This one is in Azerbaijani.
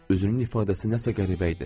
Üzünün ifadəsi nəsə qəribə idi.